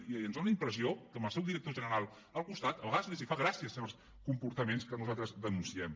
i ens dóna la impressió que amb el seu director general al costat de vegades els fan gràcia certs comportaments que nosaltres denunciem